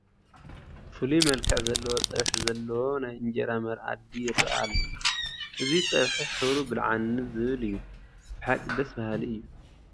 ፍሉይ መልክዕ ዘለዎ ፀብሒ ዘለዎ ናይ እንጀራ መኣዲ ይርአ ኣሎ፡፡ እዚ ፀብሒ ሕብሩ ብልዓኒ ዝብል እዩ፡፡ ብሓቂ ደስ በሃሊ እዩ፡፡